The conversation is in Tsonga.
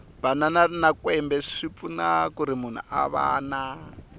banana na kwembe swipfuna kuri munhu a vana